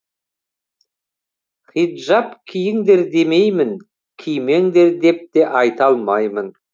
хиджаб киіңдер демеймін кимеңдер деп те айта алмаймын